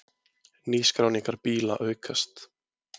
Nýskráningar bíla aukast